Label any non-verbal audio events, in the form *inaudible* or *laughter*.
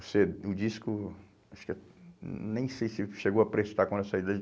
*unintelligible* O disco, acho que... Nem sei se chegou a prestar quando eu saí dele.